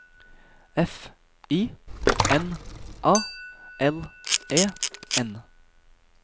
F I N A L E N